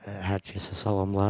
Hər kəsə salamlar.